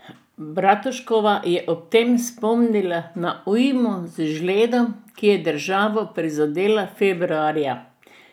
Bratuškova je ob tem spomnila na ujmo z žledom, ki je državo prizadela februarja.